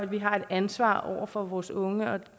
vi har et ansvar over for vores unge